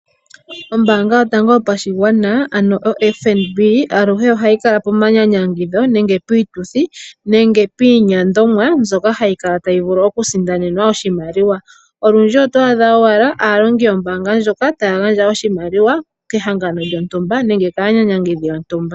Ombaanga yotango yopashigwana ano oFNB aluhe ohayi kala pomanyanyangidho, piituthi nenge pinyiindwa. Hayi kala tayi vulu okusindanenwa oshimaliwa. Olwindji oto adha aaniilonga yomombaanga ndjoka taya gandja oshimaliwa kehangano lyontumba nenge kaanyanyangithi yontumba.